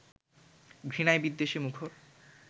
ঘৃণায়-বিদ্বেষে মুখর